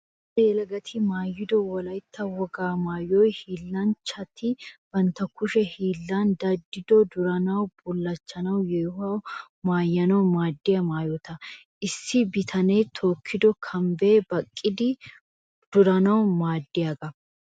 Cora yelagatti maayido wolaytta wogaa maayoy hiillanchchatti bantta kushe hiillan daddido durannawunne bulachchanne yeehuwa maayanawu maadiya maayota. Issi bitane tookido kambbay baqidi duranawu maadiyaga.